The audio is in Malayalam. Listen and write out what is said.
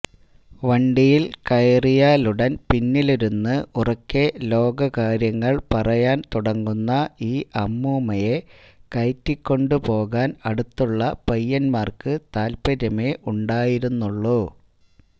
വണ്ടിയില് കയറിയാലുടന് പിന്നിലിരുന്ന് ഉറക്കെ ലോകകാര്യങ്ങള് പറയാന് തുടങ്ങുന്ന ഈ അമ്മൂമ്മയെ കയറ്റിക്കൊണ്ടു പോകാന് അടുത്തുള്ള പയ്യന്മാര്ക്ക് താത്പര്യമേ ഉണ്ടായിരുന്നുള്ളൂ